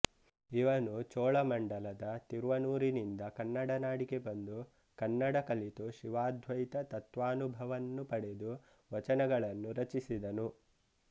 ಇವನು ಚೋಳ ಮಂಡಲದ ತಿರುವಾನೂರಿನಿಂದ ಕನ್ನಡ ನಾಡಿಗೆ ಬಂದು ಕನ್ನಡ ಕಲಿತು ಶಿವಾದೈತ ತತ್ವನುಭವನ್ನು ಪಡೆದು ವಚನಗಳನ್ನು ರಚಿಸಿದನು